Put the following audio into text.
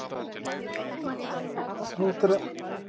Blessuð sé minning Kára.